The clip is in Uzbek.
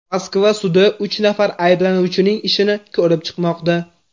Moskva sudi uch nafar ayblanuvchining ishini ko‘rib chiqmoqda.